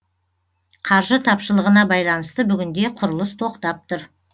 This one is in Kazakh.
қаржы тапшылығына байланысты бүгінде құрылыс тоқтап тұр